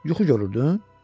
Yuxu görürdün?